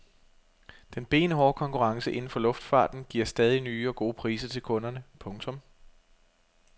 Den benhårde konkurrence inden for luftfarten giver stadig nye og gode priser til kunderne. punktum